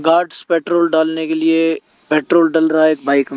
guards petrol डालने के लिए पेट्रोल डल रहा है एक बाइक --